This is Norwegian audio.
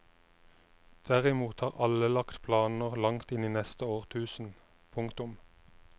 Derimot har alle lagt planer langt inn i neste årtusen. punktum